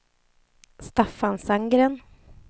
Staffan Sandgren